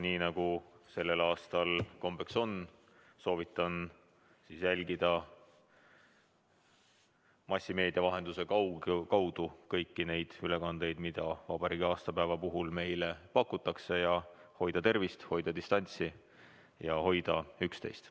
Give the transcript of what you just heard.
Nii nagu sellel aastal kombeks on, soovitan jälgida massimeedia kaudu kõiki neid ülekandeid, mida vabariigi aastapäeva puhul meile pakutakse, ja hoida tervist, hoida distantsi ja hoida üksteist.